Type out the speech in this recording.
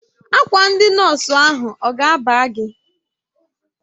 Akwa ndị nọọsụ ahụ ọ ga-aba gị?